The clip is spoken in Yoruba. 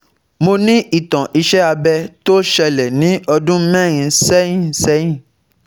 Mo ní ìtàn iṣé abẹ̀ tó ṣẹlẹ̀ ní ọdún mẹ́rin sẹ́yìn sẹ́yìn